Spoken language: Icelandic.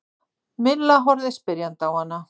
Milla horfði spyrjandi á hana.